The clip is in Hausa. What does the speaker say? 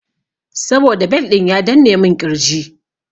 Saboda bel ɗin ya danne mun ƙirji.